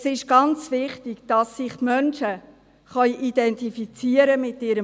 Es ist ganz wichtig, dass sich die Menschen mit ihrem Wohnort identifizieren können.